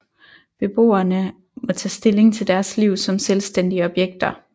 Beboerne må tage stilling til deres liv som selvstændige objekter